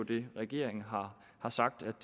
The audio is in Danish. det regeringen har sagt